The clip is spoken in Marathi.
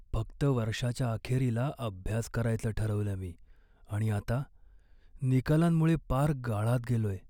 फक्त वर्षाच्या अखेरीला अभ्यास करायचं ठरवलं मी आणि आता निकालांमुळे पार गाळात गेलोय.